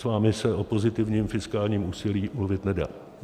S vámi se o pozitivním fiskálním úsilí mluvit nedá.